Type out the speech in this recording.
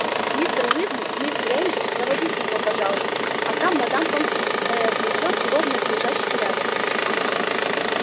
мистер уизли мисс грэйнджер проводите его пожалуйста а там мадам помфри э-э приведёт его в надлежащий порядок